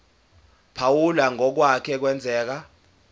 phawula ngokwake kwenzeka